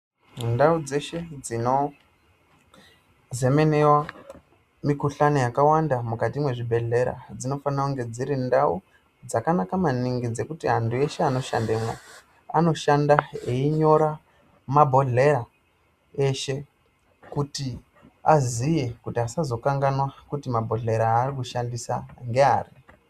Ndau dzeshe dzinozemenewa mikuhlani yakawanda mukati mwezvibhehlera dzinofanira kunge dziri ndau dzakanaka maningi. Dzekuti antu eshe anoshandemo anoshanda einyora mabhohleya eshe kuti aziye kuti asazokanaganwa kuti mabhohlera aarikushandisa ngeapi